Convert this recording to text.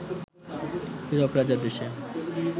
হীরক রাজার দেশে